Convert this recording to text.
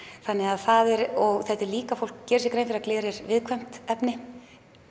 þannig að það er og þetta er líka fólk gerir sér grein að gler er viðkvæmt efni